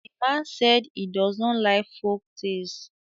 the man said he does not like folktales